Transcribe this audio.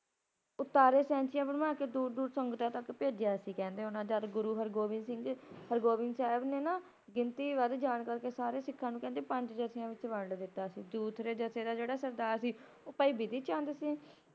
ੳਤਾਰੇ ਸੈਂਚੀਆਂ ਬਣਵਾਕੇ ਦੂਰ ਦੂਰ ਸੰਗਤਾਂ ਤਕ ਭੇਜਿਆ ਸੀ ਕਹਿੰਦੇ ਓਹਨਾ ਜਦੋ ਗੁਰੂ ਹਰਿਗੋਬਿੰਦ ਸਿੰਘ, ਹਰਿਗੋਬਿੰਦ ਸਾਹਿਬ ਨੇ ਨਾ, ਗਿਣਤੀ ਵੱਧ ਜਾਨ ਕਰਕੇ ਸਾਰੇ ਸਿੱਖਾਂ ਨੂੰ ਕਹਿੰਦੇ ਪੰਜ ਜਥਿਆਂ ਵਿੱਚ ਵੰਡ ਦਿੱਤਾ ਸੀ ਦੂਸਰੇ ਜਥੇ ਦਾ ਜਿਹੜਾ ਸਰਦਾਰ ਸੀ ਓ ਭਾਈ ਬਿਧੀ ਚੰਦ ਸੀ